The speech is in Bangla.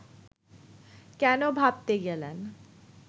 কেন ভাবতে গেলেন